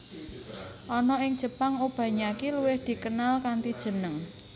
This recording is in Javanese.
Ana ing Jepang Obanyaki luwih dikenal kanthi jeneng